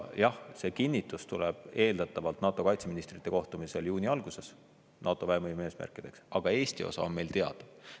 Jah, see kinnitus tuleb eeldatavalt NATO kaitseministrite kohtumisel juuni alguses NATO väevõime eesmärkideks, aga Eesti osa on meil teada.